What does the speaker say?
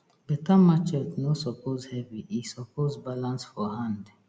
beta machete no suppose heavy e suppose balance for hand